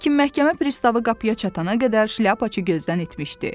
Lakin məhkəmə pristavı qapıya çatana qədər şlyapaçı gözdən itmişdi.